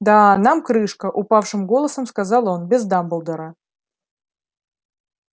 да нам крышка упавшим голосом сказал он без дамблдора